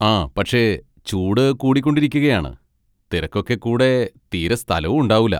ആ പക്ഷേ ചൂട് കൂടിക്കൊണ്ടിരിക്കുകയാണ്, തിരക്കൊക്കെ കൂടെ തീരെ സ്ഥലവും ഉണ്ടാവൂല.